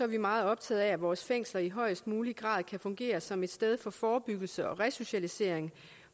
vi meget optaget af at vores fængsler i højest mulig grad kan fungere som et sted for forebyggelse og resocialisering